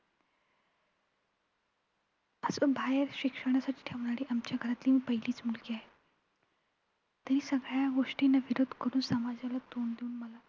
असं बाहेर शिक्षणासाठी ठेवणारी आमच्या घरातील मी पहिलीच मुलगी आहे. तेही सगळ्या गोष्टींना विरोध करून समाजाला तोंड देऊन मला